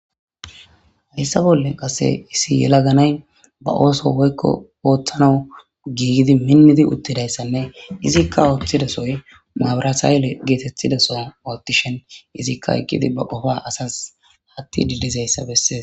Hayssa bolle qase issi yelaganay ba ooso woykko ooththanau giigidi minnidi uttidayssanne izikka ooththidasoy mawurasaayele geetetthidaso oottishen izikka eqqidi ba qofa asas hatti didizeyssa bessees.